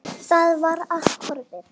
Það var allt horfið!